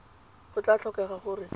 go tla tlhokega gore o